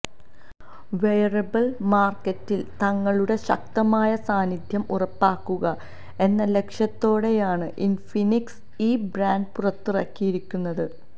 wearable മാർക്കറ്റിൽ തങ്ങളുടെ ശക്തമായ സാന്നിധ്യം ഉറപ്പാക്കുക എന്ന ലക്ഷ്യത്തോടെയാണ് ഇൻഫിനിക്സ് ഈ ബാൻഡ് പുറത്തിറക്കിയിരിക്കുന്നത്